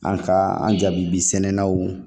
An ka an jaabi sɛnɛnw